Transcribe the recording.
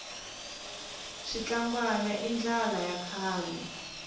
switlangwana i ndlala ya kahle